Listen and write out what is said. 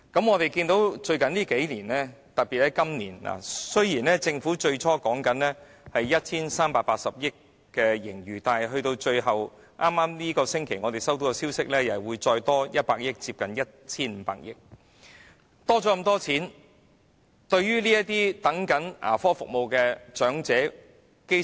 我們在最近數年——特別是在今年——看到政府最初表示有 1,380 億元盈餘，但根據我們本星期接獲的消息，又會有額外100億元的盈餘，即總共接近 1,500 億元的盈餘。